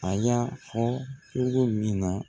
A y'a fɔ kungo ninnu na